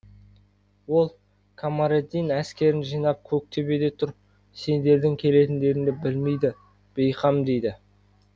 ол камариддин әскерін жинап көктөбеде тұр сендердің келетіндеріңді білмейді бейқам дейді